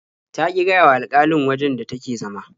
Ta ƙi gaya wa alƙalin wajen da take zama.